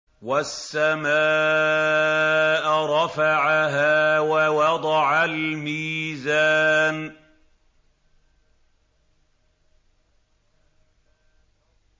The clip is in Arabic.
وَالسَّمَاءَ رَفَعَهَا وَوَضَعَ الْمِيزَانَ